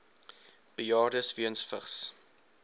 bejaardes weens vigs